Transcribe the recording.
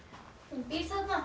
hún býr þarna